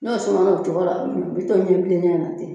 N'o sumana o cogo la, o bi to ɲɛ bilenya na ten